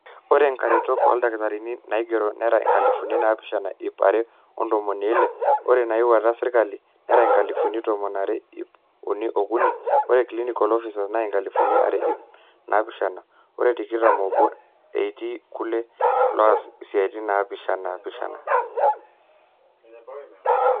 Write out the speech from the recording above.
ore inkaretok ooldakitarini naigero nera inkalifuni naapishana ip are ontomoni ile, ore inaawaita sirkali nera inkalifuni tomon aare ip uni ookuni ore clinical officers naa inkalifuni are ip naapishana o tikitam oobo etii kulo looas isiatin naapaashipaasha